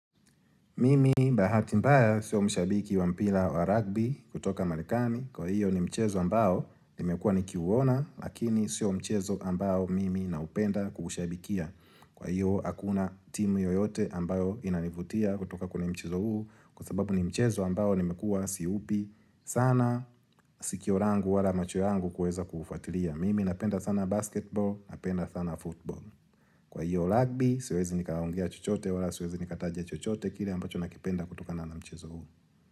Mimi mbahati mbaya sio mshabiki wa mpila wa rugby kutoka malekani. Kwa hiyo ni mchezo ambao nimekua nikiuona lakini sio mchezo ambao mimi na upenda kuushabikia. Kwa hiyo hakuna timu yoyote ambao inanivutia kutoka kwenye mchezo huu kwa sababu ni mchezo ambao nimekuwa siupi sana sikio rangu wala macho yangu kueza kufatilia. Mimi napenda sana basketball napenda sana football. Kwa hiyo lagbi, siwezi nikaongea chochote wala siwezi nikatajia chochote kile ambacho nakipenda kutokana na mchezo huu.